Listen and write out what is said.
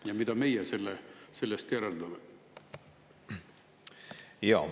Ja mida meie sellest järeldame?